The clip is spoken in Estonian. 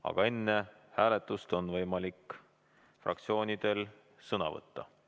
Aga enne hääletust on fraktsioonidel võimalik sõna võtta.